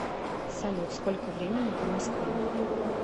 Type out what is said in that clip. салют сколько времени по москве